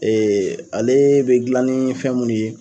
ale be dilan ni fɛn minnu ye